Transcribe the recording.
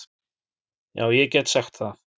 Já ég get sagt það.